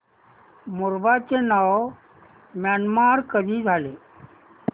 Burma चे नाव Myanmar कधी झाले